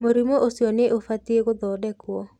Mũrimũ uciũ nĩ ũbatiĩ kũthondekwo.